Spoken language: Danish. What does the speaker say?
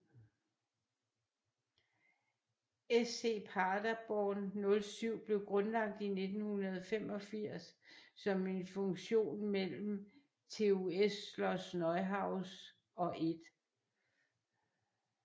SC Paderborn 07 blev grundlagt i 1985 som en fusion mellem TuS Schloß Neuhaus og 1